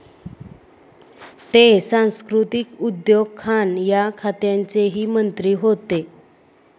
ते सांस्कृतीक, उद्योग, खाण या खात्यांचेही मंत्री होते.